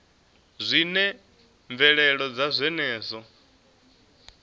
zwi na mvelelo dza zwenezwo